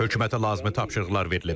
Hökumətə lazımi tapşırıqlar verilib.